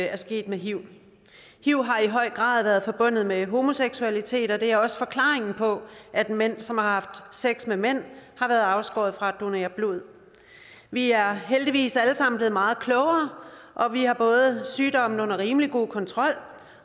er sket med hiv hiv har i høj grad været forbundet med homoseksualitet og det er også forklaringen på at mænd som har haft sex med mænd har været afskåret fra at donere blod vi er heldigvis alle sammen blevet meget klogere og vi har både sygdommen under rimelig god kontrol